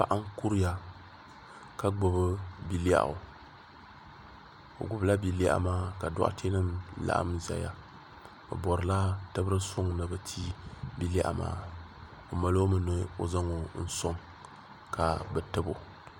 paɣ' n kuriya ka gbabi bialɛɣ' o gbabila bialɛɣ' maa ka dotɛnim laɣim ʒɛya be borila tɛbiri sɔŋ ni be ti bialɛɣ' maa o malomi nui zaŋ soŋ ka be tɛbu